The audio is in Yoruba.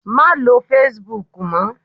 Má lo Facebook mọ.